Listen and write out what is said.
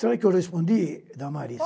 Sabe o que eu respondi Damares?